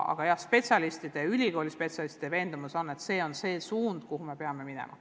Aga jah, spetsialistide, ülikooli spetsialistide veendumus on, et see on see suund, kuhu me peame minema.